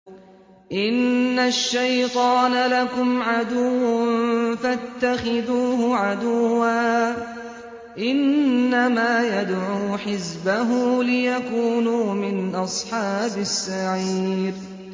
إِنَّ الشَّيْطَانَ لَكُمْ عَدُوٌّ فَاتَّخِذُوهُ عَدُوًّا ۚ إِنَّمَا يَدْعُو حِزْبَهُ لِيَكُونُوا مِنْ أَصْحَابِ السَّعِيرِ